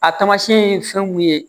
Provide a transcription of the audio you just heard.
A tamasiyɛn ye fɛn mun ye